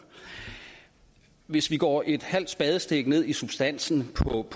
hvis vi går et halvt spadestik ned i substansen